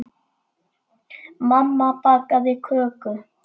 Mamma bakaði köku.